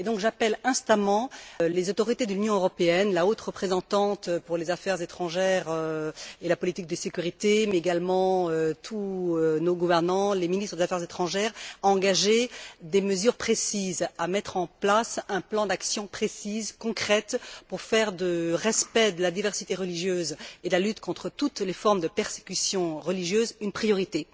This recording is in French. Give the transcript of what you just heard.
J'appelle donc instamment les autorités de l'Union européenne, la haute représentante pour les affaires étrangères et la politique de sécurité mais également tous nos gouvernants, les ministres des affaires étrangères à engager des mesures précises, à mettre en place un plan d'action précis, concret pour faire du respect de la diversité religieuse et de la lutte contre toutes les formes de persécution religieuse une priorité.